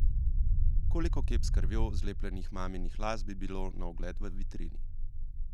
Koliko kep s krvjo zlepljenih maminih las bi bilo na ogled v vitrini?